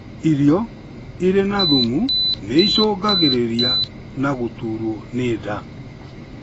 Irio irĩ na thumu nĩicũngagĩrĩria na gũturwo nĩ nda